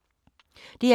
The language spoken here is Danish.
DR2